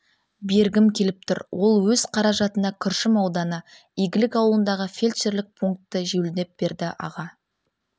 бергім келіп тұр ол өз қаражатына күршім ауданы игілік ауылындағы фельдшерлік пункті жөндеп берді аға